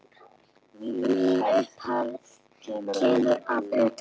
Mín upphefð kemur að utan.